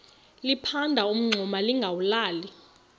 liphanda umngxuma lingawulali